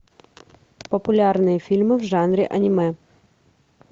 популярные фильмы в жанре аниме